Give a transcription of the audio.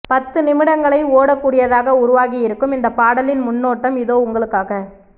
பத்து நிமிடங்களை ஓட கூடியதாக உருவாகி இருக்கும் இந்த பாடலின் முன்னோட்டம் இதே உங்களுக்காக